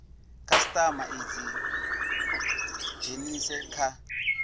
khasitama i dzi dzhenise kha